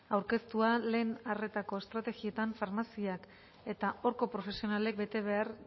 aurkeztua lehen arretako estrategietan farmaziak eta horko profesionalek bete behar